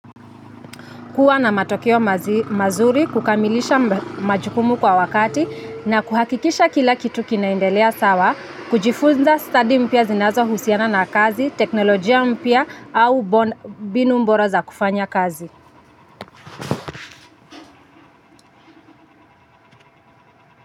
Kuwa na matokeo mazuri kukamilisha majukumu kwa wakati na kuhakikisha kila kitu kinaendelea sawa kujifunza stadi mpya zinazohusiana na kazi, teknolojia mpya au binu mbora za kufanya kazi.